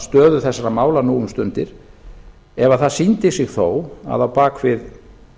stöðu þessara mála nú um stundir ef það sýndi sig þó að á bak við